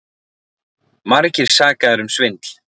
Margir sakaðir um svindl